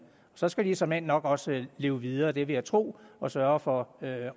så skal de såmænd nok også leve videre det vil jeg tro og sørge for